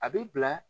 A bɛ bila